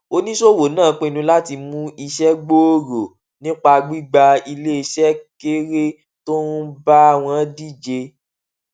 oníṣòwò náà pinnu láti mú iṣẹ gbòòrò nípa gbígba iléeṣẹ kéré tó ń bá wọn díje